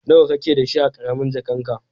Nawa ka ke da shi a karamin jakan ka?